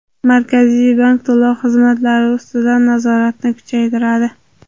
Markaziy bank to‘lov tizimlari ustidan nazoratni kuchaytiradi.